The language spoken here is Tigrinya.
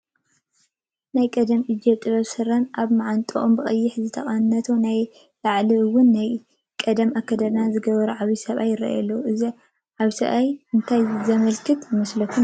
ናይ ቀደም እጀ ጠባብ ስረ ፣ ኣብ ማዓንጠኦም ብቀይሕ ዝተቐነቱ ናይ ላዕሊ ውን ናይ ቀደም ኣከዳድና ዝገበሩ ዓብይ ሰብኣይ ይራኣዩ፡፡ እዞም ሰብኣይ እንታይ ዘመላኽቱ ይመስሉ ትብሉ?